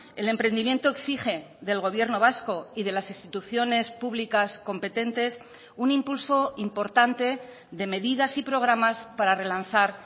el emprendimiento exige del gobierno vasco y de las instituciones públicas competentes un impulso importante de medidas y programas para relanzar